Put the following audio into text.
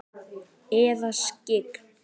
Eða skyggn?